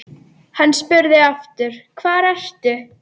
Hann spurði aftur: Hvar ertu?